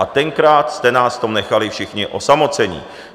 A tenkrát jste nás v tom nechali všichni osamocené.